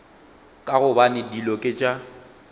ka gobane dilo ke tša